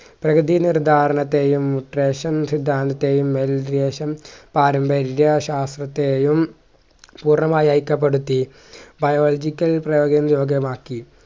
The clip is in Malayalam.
പ്രകൃതിയിൽ ഒരു ധാരണത്തെയും ഉത്രേശം സിദ്ധാന്തത്തെയും പാരമ്പര്യ ശാസ്ത്രത്തെയും ഉറവായി അയ്ക്കപ്പെടുത്തി biological പ്രയോഗി യോഗ്യമാക്കി